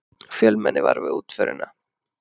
Fjölmenni var við útförina